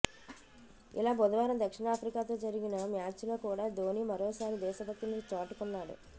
ఇలా బుధవారం దక్షిణాఫ్రికాతో జరిగిన మ్యాచ్ లో కూడా ధోని మరోసారి దేశభక్తిని చాటుకున్నాడు